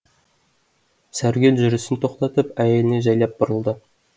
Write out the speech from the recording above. сәргел жүрісін тоқтатып әйеліне жайлап бұрылды